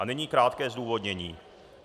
A nyní krátké zdůvodnění.